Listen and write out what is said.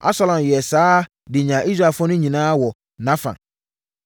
Absalom yɛɛ saa de nyaa Israelfoɔ no nyinaa wɔ nʼafa.